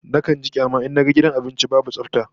Nakan ji kyama in naga gidan abinci babu tsafta